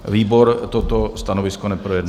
Výbor toto stanovisko neprojednal.